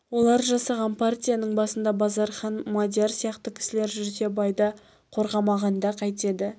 олар жасаған партияның басында базархан мадияр сияқты кісілер жүрсе байды қорғамағанда қайтеді